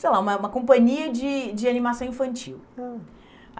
sei lá, uma uma companhia de de animação infantil. Hum.